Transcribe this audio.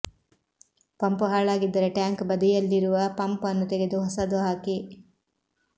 pump ಹಾಳಾಗಿದ್ದರೆ tank ಬದಿಯಲ್ಲಿರುವ pump ಅನ್ನು ತೆಗೆದು ಹೊಸದು ಹಾಕಿ